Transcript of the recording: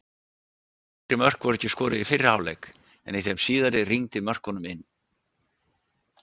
Fleiri mörk voru ekki skoruð í fyrri hálfleik en í þeim síðari rigndi mörkunum inn.